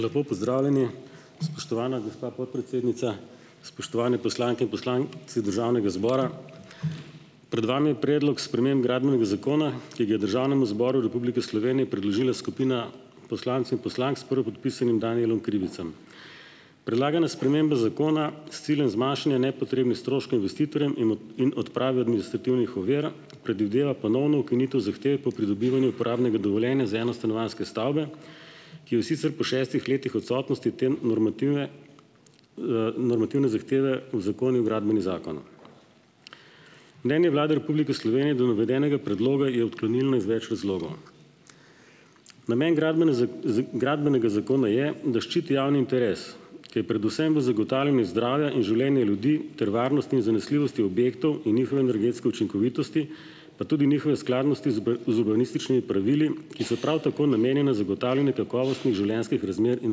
Lepo pozdravljeni! Spoštovana gospa podpredsednica, spoštovani poslanke in poslanci državnega zbora! Pred vami je predlog sprememb Gradbenega zakona, ki ga je Državnemu zboru Republike Slovenije predložila skupina poslancev in poslank s prvopodpisanim Danijelom Krivcem. Predlagana sprememba zakona s ciljem zmanjšanja nepotrebnih stroškov investitorjem in in odprave administrativnih ovir predvideva ponovno ukinitev zahteve po pridobivanju uporabnega dovoljenja za enostanovanjske stavbe, ki jo sicer po šestih letih odsotnosti te normative, normativne zahteve uzakonil Gradbeni zakon. Mnenje Vlade Republike Slovenije do navedenega predloga je odklonilno iz več razlogov. Namen Gradbene gradbenega zakona je, da ščiti javni interes, ki je predvsem v zagotavljanju zdravja in življenja ljudi ter varnosti in zanesljivosti objektov in njihove energetske učinkovitosti, pa tudi njihove skladnosti z urbanističnimi pravili, ki so prav tako namenjena zagotavljanju kakovostnih življenjskih razmer in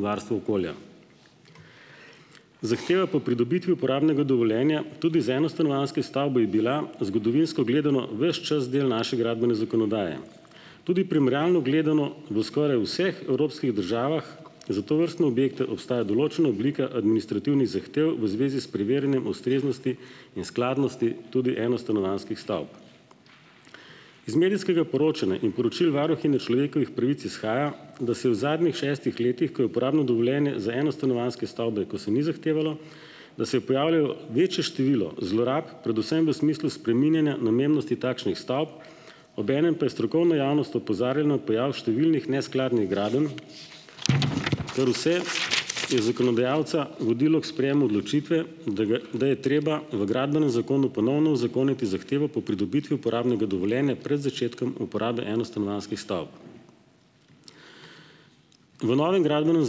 varstvu okolja. Zahteve po pridobitvi uporabnega dovoljenja tudi za enostanovanjske stavbe je bila zgodovinsko gledano ves čas del naše gradbene zakonodaje. Tudi primerjalno gledano v skoraj vseh evropskih državah za tovrstne objekte obstaja določena oblika administrativnih zahtev v zvezi s preverjanjem ustreznosti in skladnosti tudi enostanovanjskih stavb. Iz medijskega poročanja in poročil varuhinje človekovih pravic izhaja, da se je v zadnjih šestih letih, ko je uporabno dovoljenje za enostanovanjske stavbe, ko se ni zahtevalo, da se je pojavljalo večje število zlorab, predvsem v smislu spreminjanja namembnosti takšnih stavb. Obenem pa je strokovna javnost opozarjala na pojav številnih neskladnih gradenj, kar vse je zakonodajalca vodilo k sprejemu odločitve, da ga da je treba v Gradbenem zakonu ponovno uzakoniti zahtevo po pridobiti uporabnega dovoljenja pred začetkom uporabe enostanovanjskih stavb. V novem Gradbenem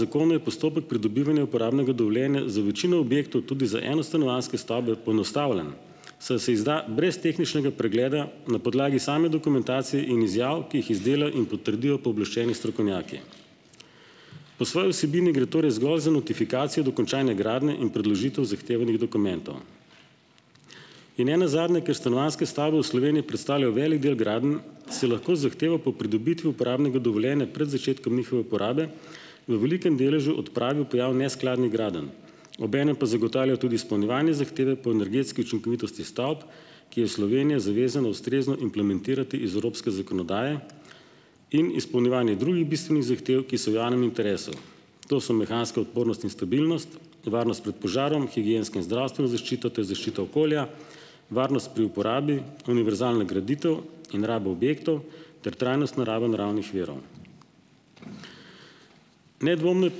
zakonu je postopek pridobivanja uporabnega dovoljenja za večino objektov, tudi za enostanovanjske stavbe, poenostavljen, saj se izda brez tehničnega pregleda, na podlagi same dokumentacije in izjav, ki jih izdelajo in potrdijo pooblaščeni strokovnjaki. Po svoji vsebini gre torej zgolj za notifikacijo dokončanja gradnje in predložitev zahtevanih dokumentov. In ne nazadnje, ker stanovanjske stavbe v Sloveniji predstavljajo velik del gradenj, se lahko z zahtevo po pridobitvi uporabnega dovoljenja pred začetkom njihove uporabe v velikem deležu odpravi pojav neskladnih gradenj. Obenem pa zagotavlja tudi izpolnjevanje zahteve po energetski učinkovitosti stavb, ki je v Slovenija zavezano, ustrezno implementirati iz evropske zakonodaje, in izpolnjevanje drugih bistvenih zahtev, ki so v javnem interesu, to so mehanska odpornost in stabilnost, varnost pred požarom, higienska in zdravstvena zaščita ter zaščita okolja, varnost pri uporabi, univerzalna graditev in raba objektov ter trajnostna raba naravnih virov. Nedvomno je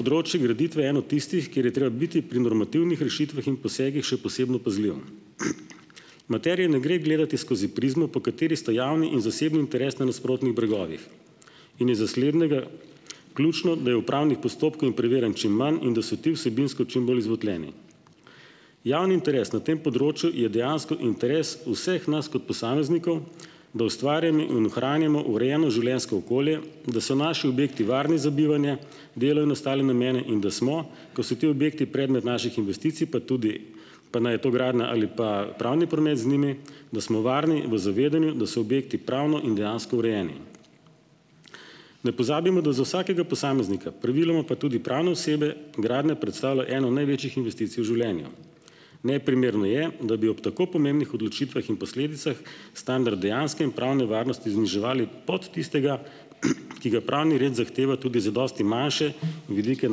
področje graditve eno tistih, kjer je treba biti pri normativnih rešitvah in posegih še posebno pazljiv. Materije ne gre gledati skozi prizmo, po kateri sta javni in zasebni interes na nasprotnih bregovih, in je za slednega ključno, da je v upravnih postopkov in preverjanj čim manj in da so ti vsebinsko čim bolj izvotljeni. Javni interes na tem področju je dejansko interes vseh nas kot posameznikov, da ustvarjamo in ohranimo urejeno življenjsko okolje, da so naši objekti varni za bivanje, delo in ostale namene in da smo, ko so ti objekti predmet naših investicij, pa tudi, pa naj je to gradnja ali pa pravni promet z njimi, da smo varni in v zavedanju, da so objekti pravno in dejansko urejeni. Ne pozabimo, da za vsakega posameznika, praviloma pa tudi pravne osebe, gradnja predstavlja eno največjih investicij v življenju. Neprimerno je, da bi ob tako pomembnih odločitvah in posledicah standard dejanske in pravne varnosti zniževali pod tistega, ki ga pravni red zahteva tudi za dosti manjše vidike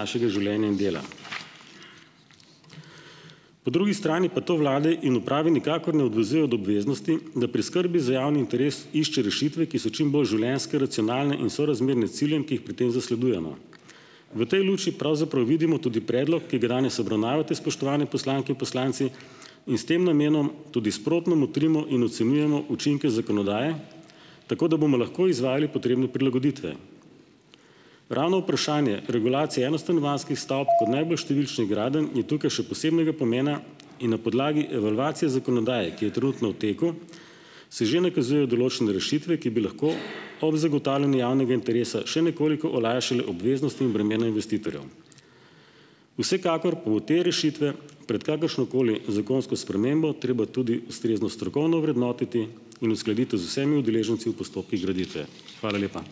našega življenja in dela. Po drugi strani pa to vlade in uprave nikakor ne odvezuje od obveznosti, da pri skrbi za javni interes išče rešitve, ki so čim bolj življenjske, racionalne in sorazmerne ciljem, ki jih pri tem zasledujemo. V tej luči pravzaprav vidimo tudi predlog, ki ga danes obravnavate, spoštovane poslanke in poslanci, in s tem namenom tudi sprotno motrimo in ocenjujemo učinke zakonodaje, tako da bomo lahko izvajali potrebne prilagoditve. Ravno vprašanje regulacije enostanovanjskih stavb kot najbolj številnih gradenj je tukaj še posebnega pomena. In na podlagi evalvacije zakonodaje, ki je trenutno v teku, se že nakazujejo določene rešitve, ki bi lahko ob zagotavljanju javnega interesa še nekoliko olajšale obveznosti in bremena investitorjev. Vsekakor pa bo te rešitve pred kakršnokoli zakonsko spremembo treba tudi ustrezno strokovno ovrednotiti in uskladiti z vsemi udeleženci v postopkih graditve. Hvala lepa.